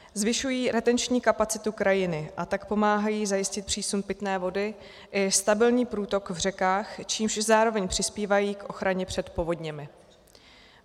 Zvyšují retenční kapacitu krajiny, a tak pomáhají zajistit přísun pitné vody i stabilní průtok v řekách, čímž zároveň přispívají k ochraně před povodněmi.